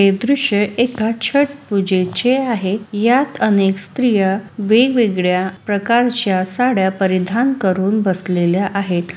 हे द्र्यश्य एका छठ पूजेचे आहे यात अनेक स्त्रिया वेगवेगळ्या प्रकारच्या साड्या परिधान करून बसलेल्या आहे.